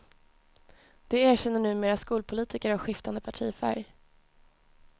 Det erkänner numera skolpolitiker av skiftande partifärg.